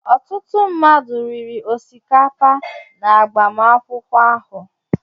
Ọtụtụ mmadụ riri osikapa n'agbamakwụkwọ ahụ.